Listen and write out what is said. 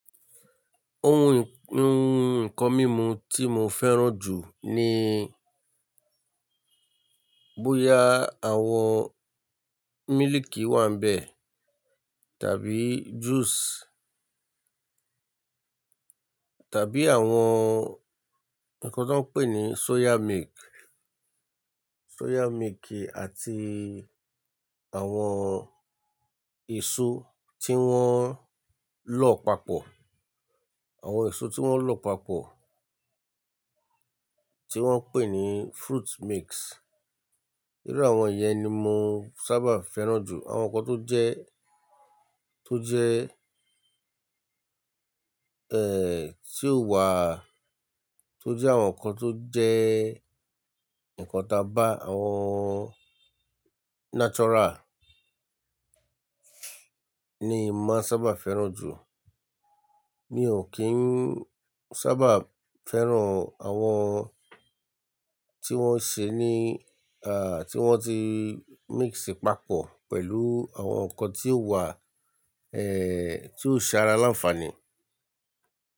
Ohun nǹkan mímu tí mo fẹ́ràn jù ni bóyá àwọn mílìkì wà ń bẹ tàbí juice tàbí àwọn nǹkan tó ń pè ní soya milk, soya milk àti àwọn èso tí wọ́n lọ papọ̀, àwọn èso tí wọ́n lọ papọ̀ tí wọ́n ń pè ní fruit mix. Nínú àwọn yẹn ni mo sábà fẹ́ràn jù. Àwọn nǹkan tó jẹ́, tó jẹ́, eh, tí ó wà, tó jẹ́ àwọn nǹkan tó jẹ́ nǹkan tá bá, àwọn natural ni mo maa n sábà fẹ́ràn jù. Mi ò kín sábà fẹ́ràn àwọn tí wọ́n ṣe ní, à, tí wọ́n ti mix papọ̀ pẹ̀lú àwọn nǹkan tí ó wà, eh, tí ó ṣe ara láǹfààní.